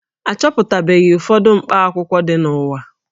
A chọpụtabeghị ụfọdụ mkpakwụkwọ ndị dị n'ụwa